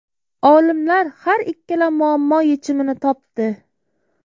Olimlar har ikkala muammo yechimini topdi.